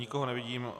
Nikoho nevidím.